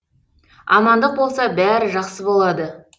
амандық болса бәрі жақсы болады